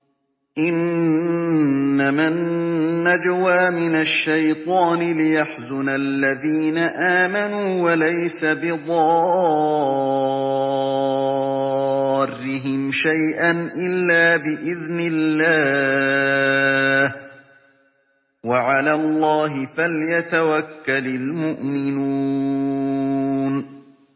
إِنَّمَا النَّجْوَىٰ مِنَ الشَّيْطَانِ لِيَحْزُنَ الَّذِينَ آمَنُوا وَلَيْسَ بِضَارِّهِمْ شَيْئًا إِلَّا بِإِذْنِ اللَّهِ ۚ وَعَلَى اللَّهِ فَلْيَتَوَكَّلِ الْمُؤْمِنُونَ